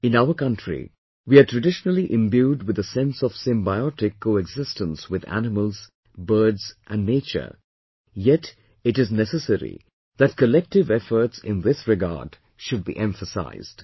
In our country, we are traditionally imbued with a sense of symbiotic coexistence with animals, birds and nature yet it is necessary that collective efforts in this regard should be emphasized